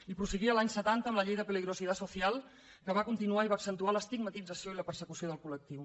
i prosseguia l’any setanta amb la llei de peligrosidad social que va continuar i va accentuar l’estigmatització i la persecució del col·lectiu